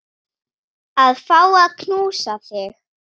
Að fá að knúsa þig.